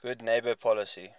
good neighbor policy